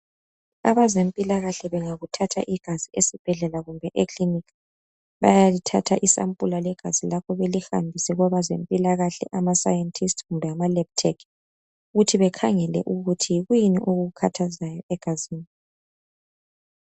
Abezempilakahle bengakuthatha igazi esibhedlela kumbe ekilinika bayalithatha isampula legazi lakho belihambise kwabezempilakahle ama Scientist kumbe ama Lab Tech ukuthi bekhangele ukuthi yini okukukhathazayo egazini.